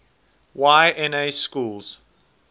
y na schools